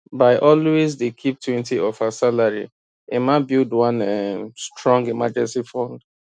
by always dey keep twenty of her salary emma dey build one um strong emergency fund